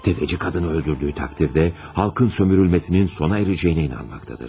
Təfəçi qadını öldürdüyü təqdirdə, xalqın sömürülməsinin sona erəcəyinə inanmaqdadır.